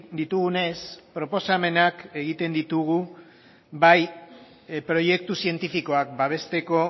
ditugunez proposamenak egiten ditugu bai proiektu zientifikoak babesteko